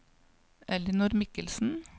Ellinor Mikkelsen